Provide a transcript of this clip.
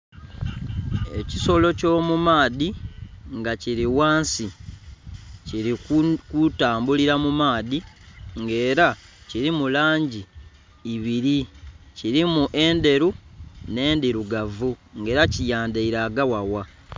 Ekisolo ekyomu maadhi nga kiri ghansi kiri kutambulira mu maadhi nga era kirimu langi ibiri kirimu endheru nhe ndhirugavu nga era kiyandhaire agaghagha